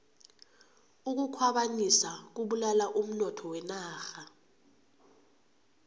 ukukhwabanisa kubulala umnotho wenarha